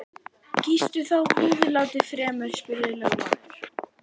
Kýstu þá húðlátið fremur, spurði lögmaður.